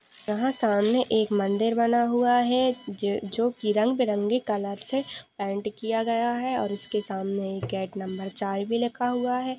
यहाँ सामने एक मंदिर बना हुआ हैं जोकि रंग बिरंगे कलर से पैंट किया गया है और उसके सामने गेट नंबर चार भी लिख हुआ है।